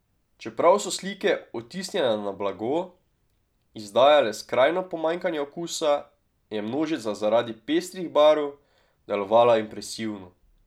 Čeprav so slike, odtisnjene na blago, izdajale skrajno pomanjkanje okusa, je množica zaradi pestrih barv delovala impresivno.